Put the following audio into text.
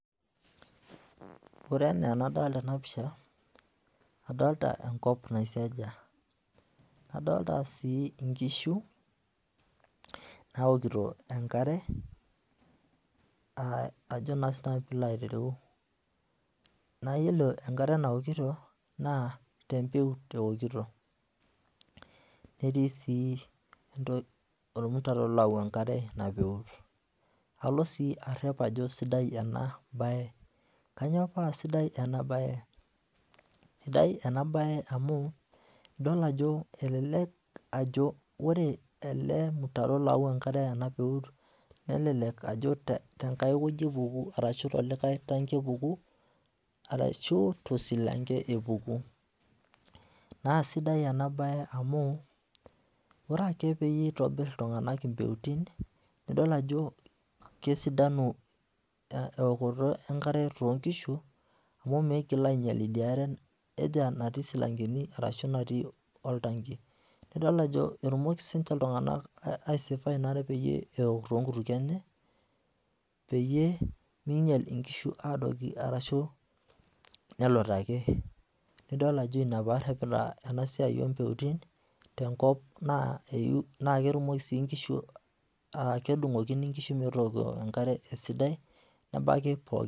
Ore enaa enadolita ena pisha adolita enkop naisiajia. Adolita sii inkishu naokito enkare ajo naa siinanu piilo aitereu. Naa iyiolo enkare naokito naa tempeut eokito. Netii sii ormutaro loyau enkare enapeut. Alo sii arrep ajo sidai ena bae. Kanyoo paa sidai ena bae, sidai ena bae amu idol ajo elelek ajo ore ele mutaro oyau enkare ena peut nelelek ajo tenkae wueji epuku ashu tolikae tanki epuku arashu tosilanka epuku. Naa sidai ena bae amu ore ake peyie itobirr iltung'anak impeutin iyiolo ajo kesidanu eokoto enkare toonkishu amu miigil ainyal idia are natii silankani arashu natii oltanki. Nidol ajo etumoki siininche iltung'anak aisefo ena are peyie eok toonkutukie enye peyie miinyal inkishu aadoiki arashu nelutaki. Nidol ajo ina paarrepita ena siai oo mpeutin tenkop naa ketumoki sii inkishu, kedung'okini meetu enkare esidai nebaiki pookin